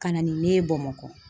Ka na ni ne ye Bamakɔ.